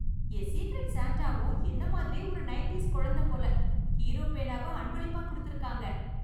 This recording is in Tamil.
என் ஸீக்ரெட் ஸான்டாவும் என்ன மாதிரியே ஒரு நைன்டீஸ் குழந்தை போல. ஹீரோ பேனாவ அன்பளிப்பாக் கொடுத்திருக்காங்க.